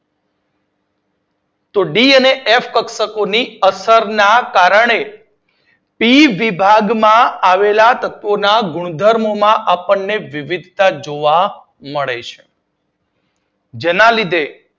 D અને F કક્ષક ની અસર ના કારણે પી વિભાગમાં આવેલા તત્વોના ગુણધર્મો માં આપડને વિવિધતા જોવા મળે છે. જેના લીધે,